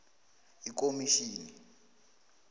ikomitjhini